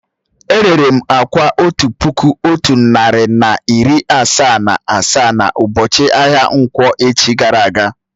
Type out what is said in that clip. È rèré m àkwá otu puku otu narị na iri asaa na asaa na ubochi ahia nkwọ̀ echi gara aga